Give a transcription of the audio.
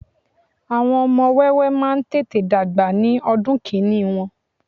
àwọn ọmọ wẹ́wẹ́ ma n tete dagba ní ọdún kini Won